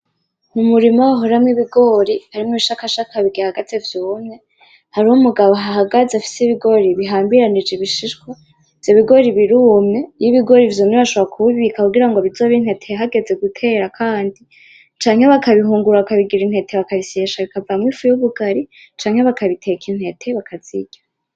Umurima wahoramwo ibigori harimwo ibishakashaka bigihagaze vyumye, hariho umugabo ahahagaze afise ibigori bihambiranije ibishishwa, ivyo bigori birumye, iyo ibigori vyumye bashobora kubibika kugira ngo bizobe intete hageze gutera kandi, canke bakabihungurura bakabigira intete bakabisyesha bikavamwo ifu y'ubugari; canke bakabiteka intete bakazirya.